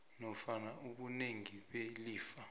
nofana ubunengi belifa